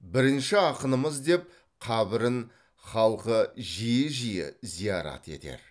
бірінші ақынымыз деп қабірін халқы жиі жиі зиярат етер